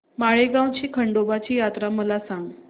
माळेगाव ची खंडोबाची यात्रा मला सांग